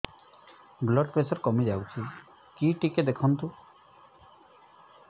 blood pressure କମି ଯାଉଛି କି ଟିକେ ଦେଖନ୍ତୁ